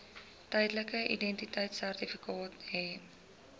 tydelike identiteitsertifikaat hê